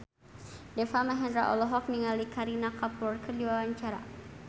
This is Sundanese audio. Deva Mahendra olohok ningali Kareena Kapoor keur diwawancara